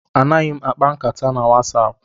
Anaghị m akpa nkata na WhatsApp.